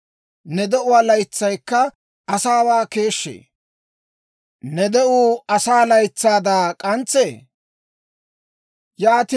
Ne de'uwaa laytsaykka asaawaa keeshshee? Ne de'uwaa laytsaykka asaa laytsaayda k'antsee?